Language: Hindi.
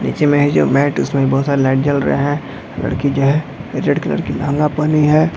नीचे में है जो मैट उसमें बहुत सारे लाइट जल रहे है लड़की जो है रेड कलर की लेहंगा पहनी है।